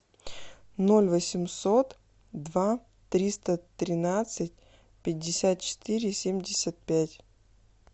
ноль восемьсот два триста тринадцать пятьдесят четыре семьдесят пять